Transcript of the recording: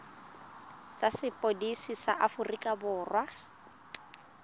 tsa sepodisi sa aforika borwa